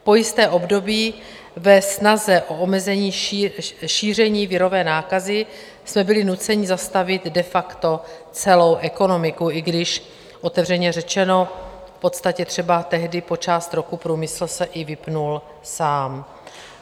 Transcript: Po jisté období ve snaze o omezení šíření virové nákazy jsme byli nuceni zastavit de facto celou ekonomiku, i když otevřeně řečeno, v podstatě třeba tehdy po část roku se průmysl i vypnul sám.